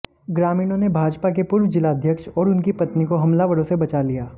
ग्रामीणों ने भाजपा के पूर्व जिलाध्यक्ष और उनकी पत्नी को हमलावरों से बचा लिया